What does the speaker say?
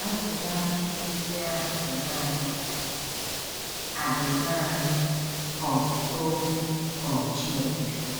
Azịza ajụjụ ndị a dị naanị a dị naanị um n’okwu um Chineke.